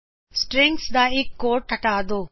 string ਦਾ ਇਕ quotes ਹਟਾ ਦੋ